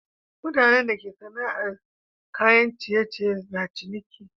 Mutanan da ke sana'ar saida kayan ciye ciye na ciniki